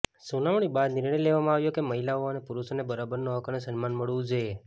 સુનાવણી બાદ નિર્ણય લેવામાં આવ્યો કે મહિલાઓ અને પુરુષોને બરાબરનો હક અને સન્માન મળવું જોઈએ